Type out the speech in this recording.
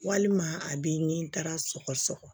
Walima a bɛ n taara sɔgɔ sɔgɔ